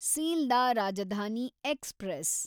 Sealdah Rajdhani express